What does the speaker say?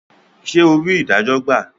Ṣe ò rí idajo gba?